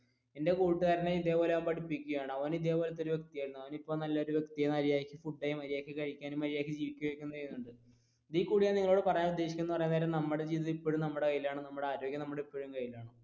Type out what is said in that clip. എന്റെ കൂട്ടുകാരനെ ഇതേപോലെ പഠിപ്പിക്കുകയാണ് അവൻ ഇതേപോലത്തെ വ്യക്തിയായിരുന്നു അവൻ ഇപ്പൊ നല്ലൊരു വ്യക്തിയായി ഇതിൽ കൂടുതൽ ഞാൻ നിങ്ങളോട് പറയാൻ ഉദ്ദേശിക്കുന്നത് എന്ന് പറയാൻ നേരം നമ്മുടെ ജീവിതം ഇപ്പോഴും നമ്മുടെ കയ്യിലാണ് നമ്മുടെ ആരോഗ്യം നമ്മുടെ ഇപ്പോഴും കയ്യിലാണ്.